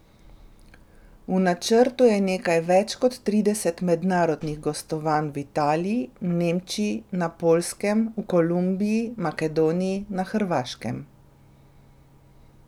V načrtu je nekaj več kot trideset mednarodnih gostovanj v Italiji, Nemčiji, na Poljskem, v Kolumbiji, Makedoniji, na Hrvaškem...